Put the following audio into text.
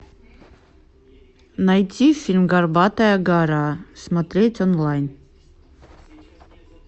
найти фильм горбатая гора смотреть онлайн